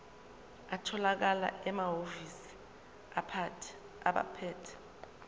atholakala emahhovisi abaphethe